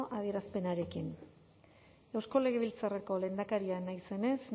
adierazpenarekin eusko legebiltzarreko lehendakaria naizenez